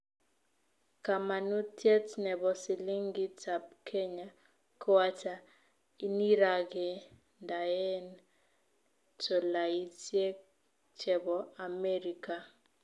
Kamanutiet nebo silingit ab kenya koata inirag'endaen tolaisiek chebo america